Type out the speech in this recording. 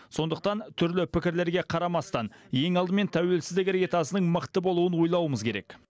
сондықтан түрлі пікірлерге қарамастан ең алдымен тәуелсіздік іргетасының мықты болуын ойлауымыз керек